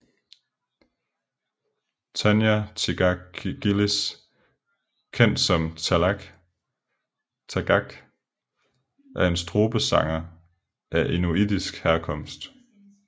Tanya Tagaq Gillis kendt som Tagaq er en strubesanger af inuitisk herkomst